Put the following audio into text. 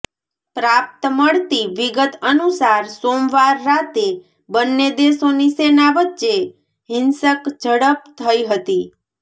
પ્રાપ્ત મળતી વિગત અનુસાર સોમવાર રાતે બંને દેશોની સેના વચ્ચે હિંસક ઝડપ થઇ હતી